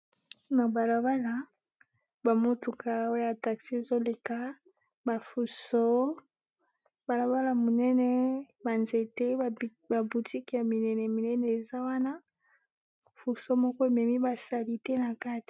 na balabala bamotuka oya taxi ezoleka bafuso balabala munene banzete babutiki ya minene minene eza wana fuso moko ememi basali te na katia